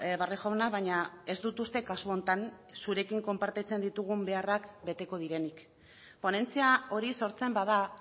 barrio jauna baina ez dut uste kasu honetan zurekin konpartitzen ditugun beharrak beteko direnik ponentzia hori sortzen bada